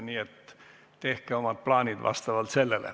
Nii et tehke omad plaanid selle järgi.